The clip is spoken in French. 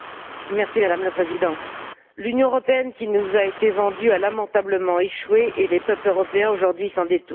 Madame la Présidente, l'Union européenne qui nous a été vendue a lamentablement échoué et les peuples européens aujourd'hui s'en détournent.